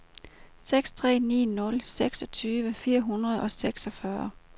seks tre ni nul seksogtyve fire hundrede og seksogfyrre